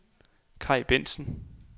Kai Bendtsen